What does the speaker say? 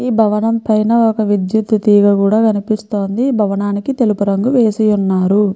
ఈ భవనానికి ఒక విద్యుత్ తీగ కూడా కనిపిస్తుందిఈ భవనానికి తెలుపు రంగు వేసి ఉన్నారు.